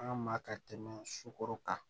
An ka maa ka tɛmɛ sukoro kan